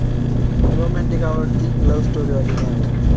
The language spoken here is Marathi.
romantic आवडती love story वाली नाही आवडत